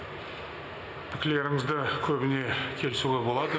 пікірлерімізді көбіне келісуге болады